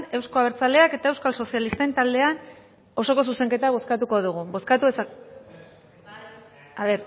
euzko abertzaleak eta euskal sozialistak taldeen osoko zuzenketa bozkatuko dugu